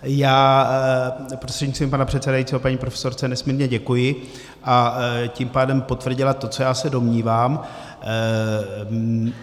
Já prostřednictvím pana předsedajícího paní profesorce nesmírně děkuji a tím pádem potvrdila to, co já se domnívám.